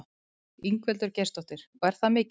Ingveldur Geirsdóttir: Og er það mikið?